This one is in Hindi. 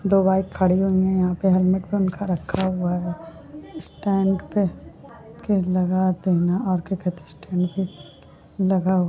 दो बाइक खड़ी हुई हैं यहाँ पे हेलमेंट उनका रखा हुआ है स्टैन्ड पे लगा देना और क्या कहते हैं स्टैन्ड पे लगा--